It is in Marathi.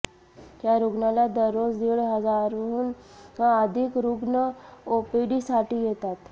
या रुग्णालयात दररोज दीड हजारांहून अधिक रुग्ण ओपीडीसाठी येतात